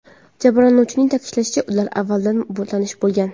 Jabrlanuvchining ta’kidlashicha, ular avvaldan tanish bo‘lgan.